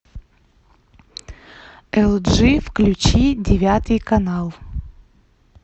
эл джи включи девятый канал